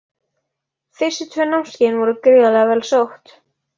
Fyrstu tvö námskeiðin voru gríðarlega vel sótt.